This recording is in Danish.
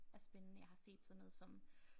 Er spændende jeg har set sådan noget som